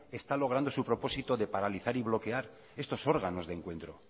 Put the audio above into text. está logrando su propósito de paralizar y bloquear estos órganos de encuentro